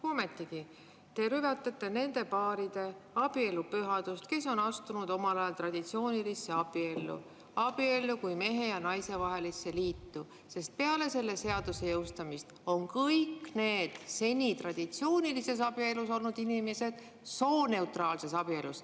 Ometigi te rüvetate nende paaride abielu pühadust, kes on omal ajal astunud traditsioonilisse abiellu, abiellu kui mehe ja naise vahelisse liitu, sest peale selle seaduse jõustumist on kõik need seni traditsioonilises abielus olnud inimesed sooneutraalses abielus.